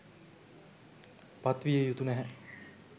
පත් විය යුතු නැහැ.